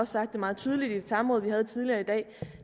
sagt det meget tydeligt i et samråd vi havde tidligere i dag